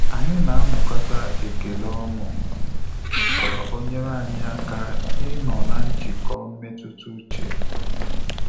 Anyị na amụkata ekele ọṅu ka o nyere anyị aka ịnọ na njikọ mmetụta uche